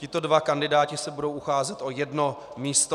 Tito dva kandidáti se budou ucházet o jedno místo.